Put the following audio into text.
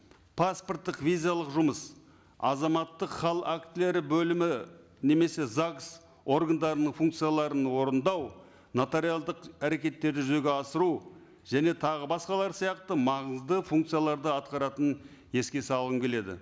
паспорттық визалық жұмыс азаматтық хал актілері бөлімі немесе загс органдарының функцияларын орындау нотариалдық әрекеттерді жүзеге асыру және тағы басқалар сияқты маңызды функцияларды атқаратынын еске салғым келеді